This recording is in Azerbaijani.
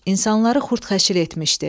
insanları xurd-xəşir etmişdi.